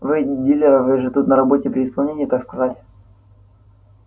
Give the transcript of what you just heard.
вы дилеры вы же тут на работе при исполнении так сказать